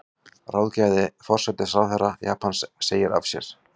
Ráðgjafi forsætisráðherra Japans segir af sér